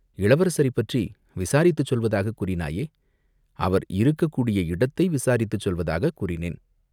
"இளவரசரைப் பற்றி விசாரித்துச் சொல்வதாகக் கூறினாயே?" "அவர் இருக்கக்கூடிய இடத்தை விசாரித்துச் சொல்வதாகச் கூறினேன்.